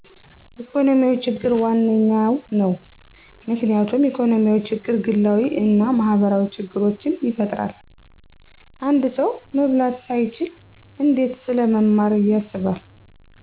ኢኮኖሚያዊ ችግር ዋነኛው ነው። ምክንያቱም ኢኮኖሚያዊ ችግር ግላዊ አና ማህበራዊ ችግሮችን ይፈጥራል። አንድ ሰው መብላት ሳይችል እንዴት ስለመማር ያስባል።